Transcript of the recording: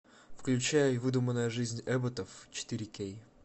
включай выдуманная жизнь эбботов четыре кей